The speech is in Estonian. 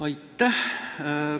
Aitäh!